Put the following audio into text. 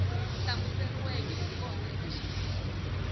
hlamuseriweke hi kona eka xiyenge